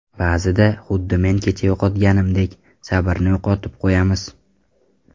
Ba’zida, xuddi men kecha yo‘qotganimdek, sabrni yo‘qotib qo‘yamiz.